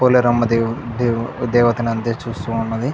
పోలేరమ్మ దేవ్ దేవ్ దేవతను అందే చూస్తూ ఉన్నది.